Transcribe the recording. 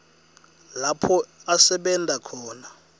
lapho asebenta khona